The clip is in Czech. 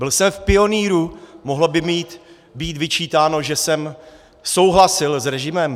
Byl jsem v Pionýru, mohlo by mi být vyčítáno, že jsem souhlasil s režimem?